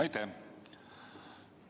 Aitäh!